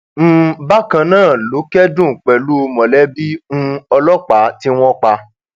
um bákan náà ló kẹdùn pẹlú mọlẹbí um ọlọpàá tí wọn pa